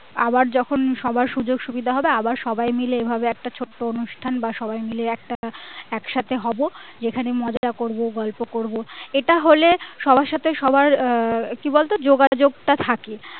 আবার যখন সবার সুযোগ সুবিধা হবে আবার সবাই মিলে এইভাবে একটা ছোট্ট অনুষ্ঠান বা সবাই মিলে একটা একসাথে হবো যেখানে মজা করবো গল্প করবো এটা হলে সবার সাথে সবার আহ কি বলতো যোগাযোগ টা থাকে